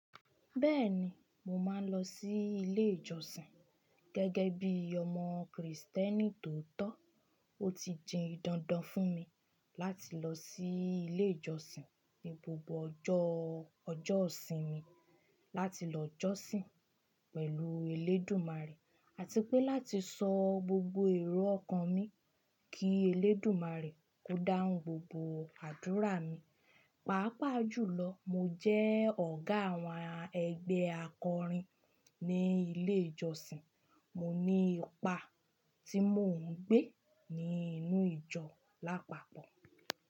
Bẹ́ẹ̀ni, mo máa ń lọ sí ilé ìjọsìn gẹ́gẹ́ bí ọmọ Krìstẹ́nì tó tọ́. Ó ti di dandan fún mi láti lọ sí ilé ìjọsìn ní gbogbo ọjọ́ ọjọ́ isinmi láti lọ jọ́sìn pẹ̀lú elédùmarè àti pé láti sọ gbogbo èrò ọkàn mi kí elédùmarè ko dáhùn gbogbo àdúrà mi. Pàápàá jùlọ, mo jẹ́ ọ̀gá àwọn ẹgbẹ́ akọrin ní ilé ìjọsìn. Mo ní ipa tí mò ń gbé nínú ìjọ lápapọ̀